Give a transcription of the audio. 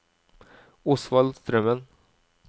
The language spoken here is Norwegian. Osvald Strømmen